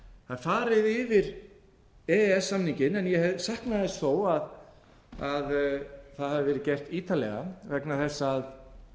það er farið yfir e e s samninginn en ég sakna þess þó að það hafi verið gert ítarlega vegna þess að